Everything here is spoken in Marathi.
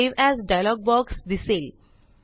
सावे एएस डायलॉग बॉक्स दिसेल